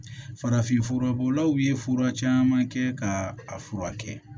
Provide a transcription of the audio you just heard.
Farafinfura bɔlaw ye fura caman kɛ ka a furakɛ